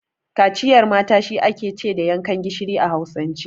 Kaciyar mata shi ake ce da yankan gishiri a Hausance.